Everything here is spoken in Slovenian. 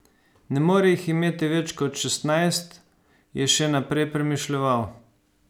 Ne more jih imeti več kot šestnajst, je še naprej premišljeval.